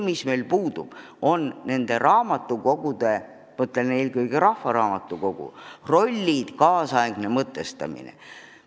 Aga meil puudub raamatukogude – mõtlen eelkõige rahvaraamatukogusid – rollide kaasaegne mõtestamine.